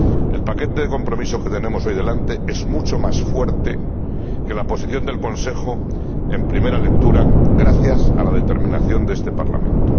El paquete de compromiso que tenemos hoy delante es mucho más fuerte que la Posición del Consejo en primera lectura gracias a la determinación de este Parlamento.